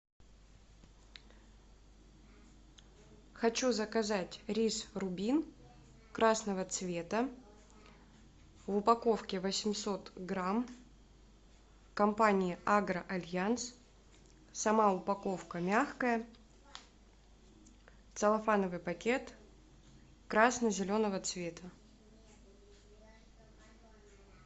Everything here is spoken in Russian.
хочу заказать рис рубин красного цвета в упаковке восемьсот грамм компания агро альянс сама упаковка мягкая целлофановый пакет красно зеленого цвета